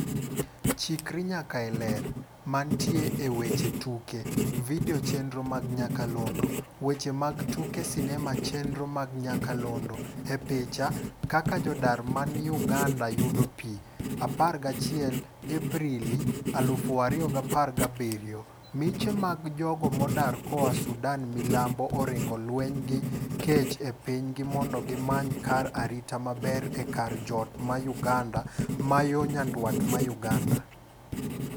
Chikr nyaka e Ler. Mantie e weche tuke. Video chenro mag nyakalondo. Weche mag tuke sinema chenro mag nyakalondo: E Picha: Kaka jodar mani Uganda yudo pii, 11 Aprili 2017 . Miche gana mag jodar koa Sudan milambo oringo lweny gi kech e pinygi mondo gi many kar arita maber e kar jot ma Uganda ma yo nyandwat ma Uganda.